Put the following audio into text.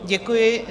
Děkuji.